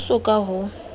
ha ho so ka ho